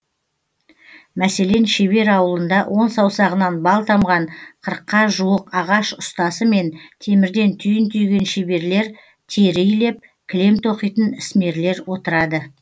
мәселен шебер ауылында он саусағынан бал тамған қырыққа жуық ағаш ұстасы мен темірден түйін түйген шеберлер тері илеп кілем тоқитын ісмерлер отырады